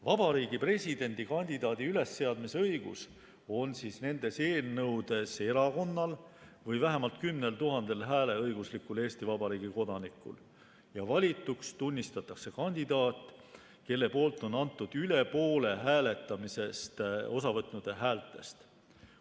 Vabariigi Presidendi kandidaadi ülesseadmise õigus on nendes eelnõudes erakonnal või vähemalt 10 000 hääleõiguslikul Eesti Vabariigi kodanikul ja valituks tunnistatakse kandidaat, kelle poolt on antud üle poole hääletamisest osavõtnute häältest.